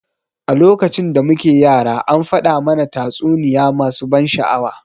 A lokacin da muke yara an faɗa mana tatsuniya masu ban sha'awa.